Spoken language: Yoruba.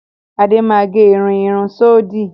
Adé máa gẹ irú irun síòdò.